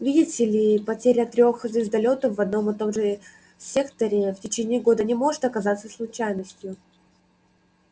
видите ли потеря трёх звездолётов в одном и том же секторе в течение года не может оказаться случайностью